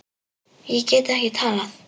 Ég get ekki talað.